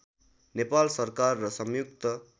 नेपाल सरकार र संयुक्त